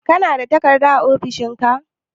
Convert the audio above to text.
Kana da takarda a ofishin ka?